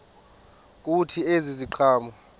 kuthi ezi ziqhamo